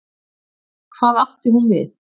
Hvað átti hún við?